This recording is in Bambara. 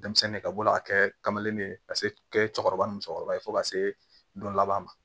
Denmisɛnnin ka bɔ a kɛ kamanlen ka se kɛ cɛkɔrɔba ni musokɔrɔba ye fo ka se don laban ma